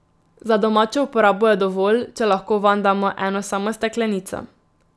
Za domačo uporabo je dovolj, če lahko vanj damo eno samo steklenico.